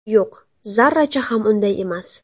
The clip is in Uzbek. Yo‘q, zarracha ham unday emas.